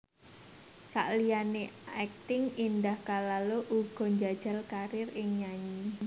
Saliyané akting Indah Kalalo uga njajal karir ing nyanyi